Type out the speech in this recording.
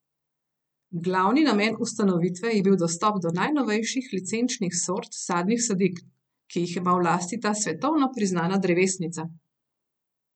Glavni namen ustanovitve je bil dostop do najnovejših licenčnih sort sadnih sadik, ki jih ima v lasti ta svetovno priznana drevesnica.